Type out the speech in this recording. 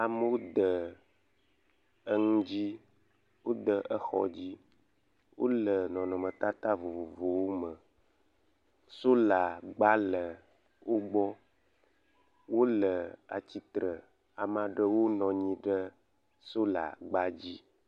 Amewo de enu dzi wode exɔ dzi. Wo le nɔnɔmetata vovovowo me. Solagba le wo gbɔ. Wo le atsitre, ame aɖewo nɔ anyi ɖe solagba dzi.